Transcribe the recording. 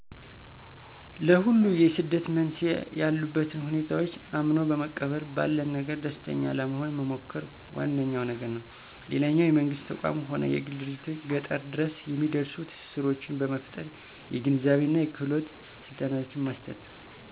ለሁሉ የስደት መንስኤ ያሉበትን ሁኔታዎች አምኖ በመቀበል ባለን ነገር ደስተኛ ለመሆን መሞከር ዋነኛዉ ነገር ነው። ሌላኛው የመንግስት ተቋም ሆነ የግል ድርጅቶች ገጠር ድረስ የሚደርሱ ትስስሮችን በመፍጠር የግንዛቤና የክህሎት ስልጠናዎችን መስጠት።